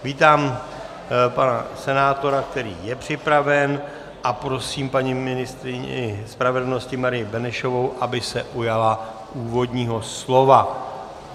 Vítám pana senátora, který je připraven, a prosím paní ministryni spravedlnosti Marii Benešovou, aby se ujala úvodního slova.